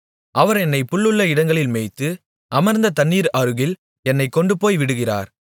அவர் என்னைப் புல்லுள்ள இடங்களில் மேய்த்து அமர்ந்த தண்ணீர்கள் அருகில் என்னைக் கொண்டுபோய்விடுகிறார்